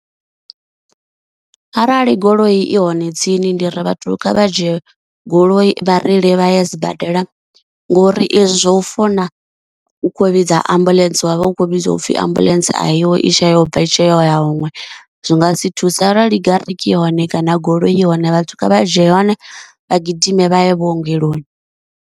Arali goloi i hone tsini ndi ri vhathu kha vha dzhie goloi vhareili vha ya sibadela, ngori ezwi zwa u founa u kho vhidza ambuḽentse wa vha ukho vhudziwa u pfhi ambuḽentse a iho i tshe yobva itshe yo ya huṅwe zwi nga si thusa, arali gariki i hone kana goloi i hone vhathu kha vha dzhie yone vha gidime vha ye vhuongeloni.